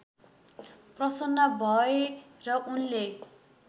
प्रसन्न भए र उनले